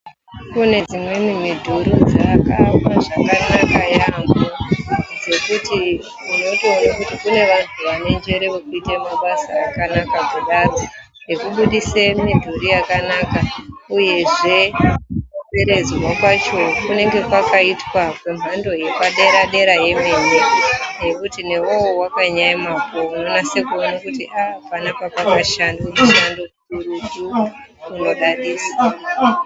Kune dzimweni midhuri dzakaakwa zvakanaka yaambhoo. zvekuti unotoona kuti kune vanhu vanenjere mukuita mabasa akanaka kudaro . Ekubudise mudhuri yakanaka uyezve kukomberedzwa kwacho kunenge kwakaitwa ngemhando yepadera-dera yemene zvekuti newewo wakanyaemapo unonase kuona kuti aa panapa pakashandwa mushando mukurutu unodadisa.